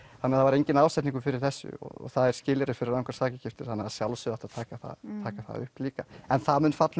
þannig það var enginn ásetningur fyrir þessu og það er skilyrði fyrir rangar sakagiftir þannig að sjálfsögðu átti að taka það upp líka en það mun falla